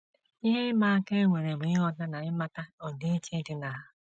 Ihe ịma aka e nwere bụ ịghọta na ịmata ọdịiche dị na ha. ”